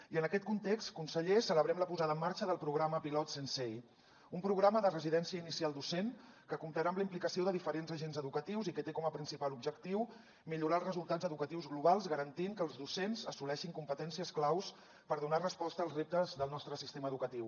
i en aquest context conseller celebrem la posada en marxa del programa pilot sensei un programa de residència inicial docent que comptarà amb la implicació de diferents agents educatius i que té com a principal objectiu millorar els resultats educatius globals garantint que els docents assoleixin competències claus per donar resposta als reptes del nostre sistema educatiu